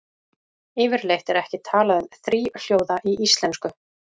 Yfirleitt er ekki talað um þríhljóða í íslensku.